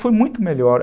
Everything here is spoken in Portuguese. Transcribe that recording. Foi muito melhor.